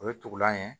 O ye tugulan ye